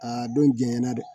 Aa don diɲɛ na dɛ